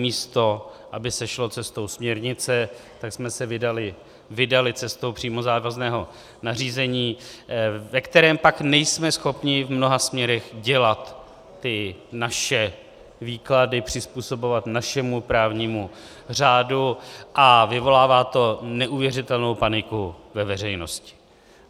Místo aby se šlo cestou směrnice, tak jsme se vydali cestou přímo závazného nařízení, ve kterém pak nejsme schopni v mnoha směrech dělat ty naše výklady, přizpůsobovat našemu právnímu řádu, a vyvolává to neuvěřitelnou paniku ve veřejnosti.